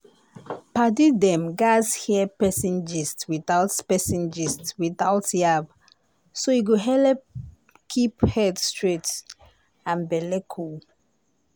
padi dem gatz hear person gist without person gist without yab so e go helep keep head straight and belle cool.